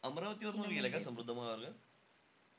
अमरावतीवरनं गेलेलाय का समृद्धी महामार्ग?